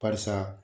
Barisa